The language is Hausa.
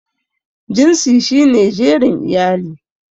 Jinsi shi ne jerin iyali.